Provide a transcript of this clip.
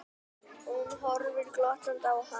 Hún horfir glottandi á hann.